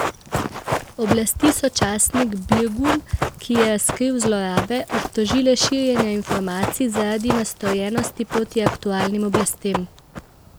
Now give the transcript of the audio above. Oblasti so časnik Birgun, ki je razkril zlorabe, obtožile širjenja informacij zaradi nastrojenosti proti aktualnim oblastem.